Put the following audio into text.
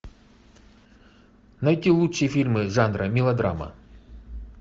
найти лучшие фильмы жанра мелодрама